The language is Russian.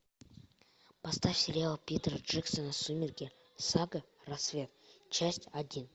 поставь сериал питера джексона сумерки сага рассвет часть один